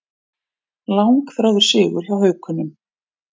Langþráður sigur hjá Haukunum